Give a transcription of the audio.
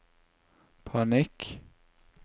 panikk